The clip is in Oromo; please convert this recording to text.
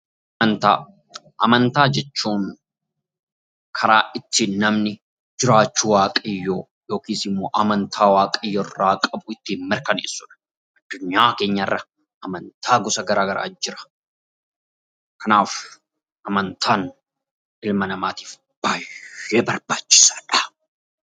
Amantaa jechuun karaa ittiin namni jiraachuu waaqayyoo yookiis immoo amantaa waaqayyo irraa qabu ittiin mirkaneessudha. Addunyaa keenyarra amantaa gosa garaa garaa jira. Kanaaf amantaan ilma namaatiif baay'ee barbaachisaadha.